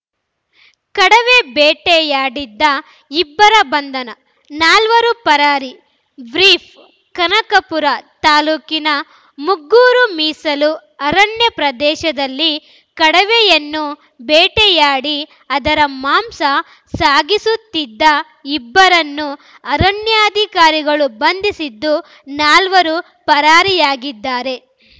ಕಡವೆ ಬೇಟೆಯಾಡಿದ್ದ ಇಬ್ಬರ ಬಂಧನ ನಾಲ್ವರು ಪರಾರಿ ಬ್ರೀಫ್‌ ಕನಕಪುರ ತಾಲೂಕಿನ ಮುಗ್ಗೂರು ಮೀಸಲು ಅರಣ್ಯ ಪ್ರದೇಶದಲ್ಲಿ ಕಡವೆಯನ್ನು ಬೇಟೆಯಾಡಿ ಅದರ ಮಾಂಸ ಸಾಗಿಸುತ್ತಿದ್ದ ಇಬ್ಬರನ್ನು ಅರಣ್ಯಾಧಿಕಾರಿಗಳು ಬಂಧಿಸಿದ್ದು ನಾಲ್ವರು ಪರಾರಿಯಾಗಿದ್ದಾರೆ